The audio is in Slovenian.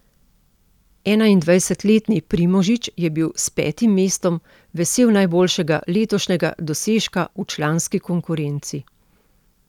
Enaindvajsetletni Primožič je bil s petim mestom vesel najboljšega letošnjega dosežka v članski konkurenci.